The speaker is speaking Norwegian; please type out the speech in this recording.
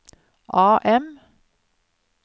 AM